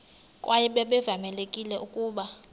kwaye babevamelekile ukuba